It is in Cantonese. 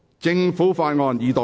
政府法案：二讀。